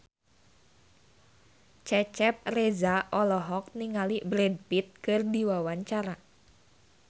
Cecep Reza olohok ningali Brad Pitt keur diwawancara